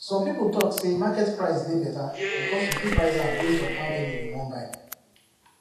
some people talk say market price dey better because you fit price am based on how many you wan buy